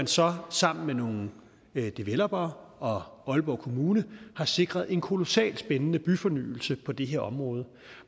så sammen med nogle developere og aalborg kommune sikret en kolossalt spændende byfornyelse på det her område